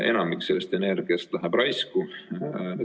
Enamik sellest energiast läheb raisku.